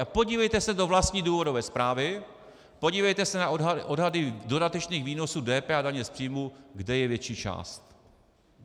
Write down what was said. A podívejte se do vlastní důvodové zprávy, podívejte se na odhady dodatečných výnosů DPH a daně z příjmu, kde je větší část.